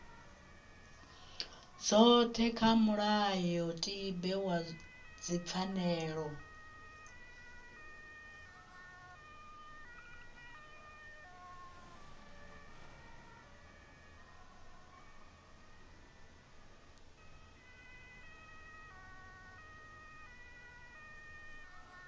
dzothe kha mulayotibe wa dzipfanelo